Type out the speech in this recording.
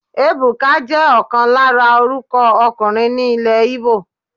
Ebuka jẹ́ ọ̀kan lára orúkọ ọkùnrin ní ilè Igbo.